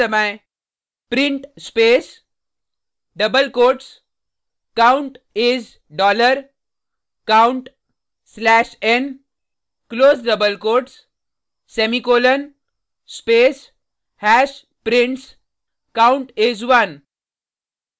print space double quotes count is dollar count slash n close double quotes semicolon space hash prints count is 1